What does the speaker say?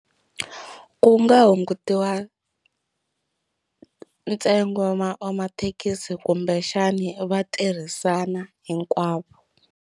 Ku nga hungutiwa ntsengo wa wa mathekisi kumbexani va tirhisana hinkwavo.